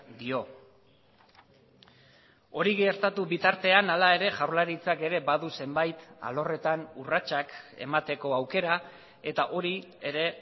dio hori gertatu bitartean hala ere jaurlaritzak ere badu zenbait alorretan urratsak emateko aukera eta hori ere